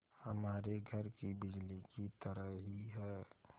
हमारे घर की बिजली की तरह ही है